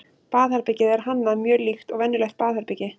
baðherbergið er hannað mjög líkt og venjulegt baðherbergi